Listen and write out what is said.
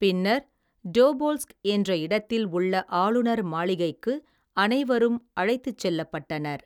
பின்னர் டோபோல்ஸ்க் என்ற இடத்தில் உள்ள ஆளுநர் மாளிகைக்கு அனைவரும் அழைத்துச் செல்லப்பட்டனர்.